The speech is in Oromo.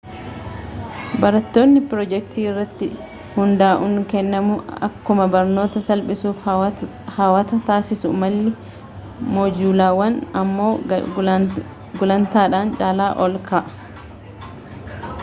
barnootni piroojektii irratti hunda'uun kennamuu akkuma barnoota salphiisuu fi hawataa taasisuu malli moojulaawaan ammoo gulantadhaan caalaa ol ka'a